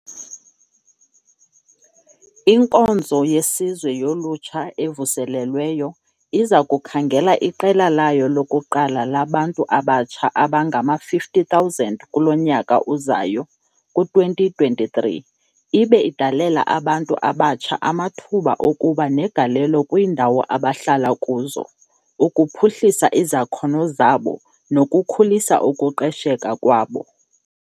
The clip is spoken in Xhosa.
"INkonzo yeSizwe yoLutsha evuselelweyo iza kukhangela iqela layo lokuqala labantu abatsha abangama-50 000 kulo nyaka uzayo [ku-2023], ibe idalela abantu abatsha amathuba okuba negalelo kwiindawo abahlala kuzo, ukuphuhlisa izakhono zabo nokukhulisa ukuqesheka kwabo."